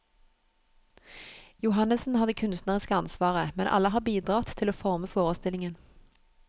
Johannessen har det kunstneriske ansvaret, men alle har bidratt til å forme forestillingen.